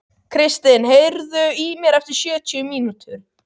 Kristin, heyrðu í mér eftir sjötíu mínútur.